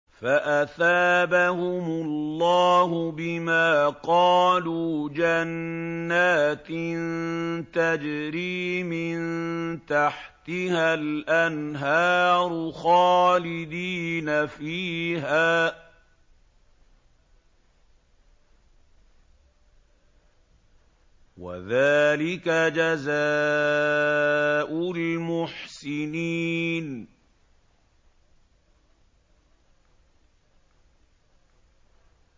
فَأَثَابَهُمُ اللَّهُ بِمَا قَالُوا جَنَّاتٍ تَجْرِي مِن تَحْتِهَا الْأَنْهَارُ خَالِدِينَ فِيهَا ۚ وَذَٰلِكَ جَزَاءُ الْمُحْسِنِينَ